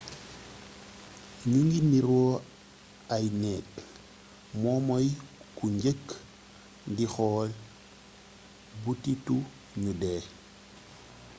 ñugui nirok ay neg momoy ku njeuk di xool butitu niou dé